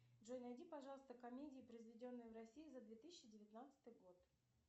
джой найди пожалуйста комедии произведенные в россии за две тысячи девятнадцатый год